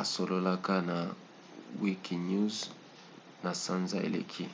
asololaka na wikinews na sanza eleki